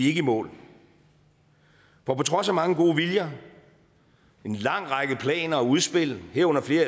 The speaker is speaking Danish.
ikke i mål på trods af mange gode viljer en lang række planer og udspil herunder flere